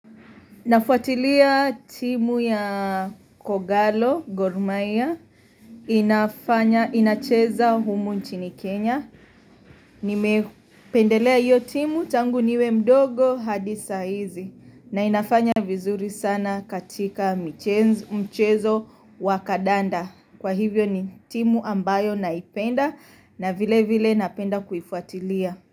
Nafuatilia timu ya Kogalo, Gor mahia, inafanya inacheza humu nchini Kenya. Nimependelea hiyo timu tangu niwe mdogo hadi sahizi na inafanya vizuri sana katika mchezo wa kadanda. Kwa hivyo ni timu ambayo naipenda na vile vile napenda kuifuatilia.